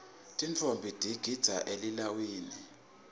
tintfombi tigidza elilawini